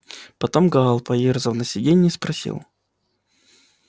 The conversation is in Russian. потом гаал поёрзав на сидении спросил